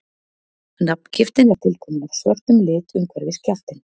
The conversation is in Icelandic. nafngiftin er tilkomin af svörtum lit umhverfis kjaftinn